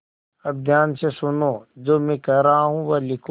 अब ध्यान से सुनो जो मैं कह रहा हूँ वह लिखो